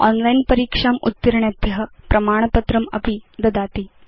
online परीक्षाम् उत्तीर्णेभ्य प्रमाणपत्रमपि ददाति